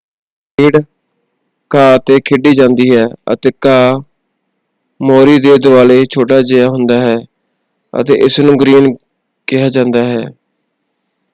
ਖੇਡ ਘਾਹ 'ਤੇ ਖੇਡੀ ਜਾਂਦੀ ਹੈ ਅਤੇ ਘਾਹ ਮੋਰੀ ਦੇ ਦੁਆਲੇ ਛੋਟਾ ਜਿਹਾ ਹੁੰਦਾ ਹੈ ਅਤੇ ਇਸਨੂੰ 'ਗ੍ਰੀਨ' ਕਿਹਾ ਜਾਂਦਾ ਹੈ।